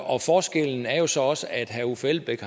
og forskellen er jo så også at herre uffe elbæk